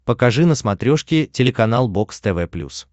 покажи на смотрешке телеканал бокс тв плюс